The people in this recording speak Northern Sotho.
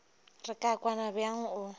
re ka kwana bjang o